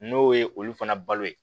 N'o ye olu fana balo ye